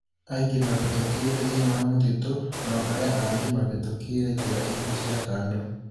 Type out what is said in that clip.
Aingĩ mavitukĩire thĩiniĩ wa mutito, nao arĩa angĩ mavitukĩĩre njĩra iingĩ cia kando.